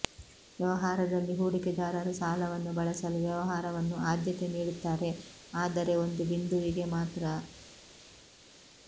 ವ್ಯವಹಾರದಲ್ಲಿ ಹೂಡಿಕೆದಾರರು ಸಾಲವನ್ನು ಬಳಸಲು ವ್ಯವಹಾರವನ್ನು ಆದ್ಯತೆ ನೀಡುತ್ತಾರೆ ಆದರೆ ಒಂದು ಬಿಂದುವಿಗೆ ಮಾತ್ರ